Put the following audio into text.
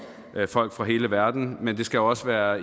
folk fra hele verden men det skal også være